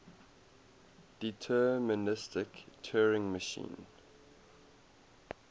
deterministic turing machine